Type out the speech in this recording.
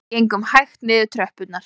Við gengum hægt niður tröppurnar